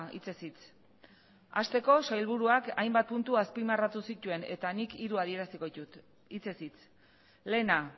hitzez hitz hasteko sailburuak hainbat puntu azpimarratu zituen eta nik hiru adieraziko ditut hitzez hitz lehena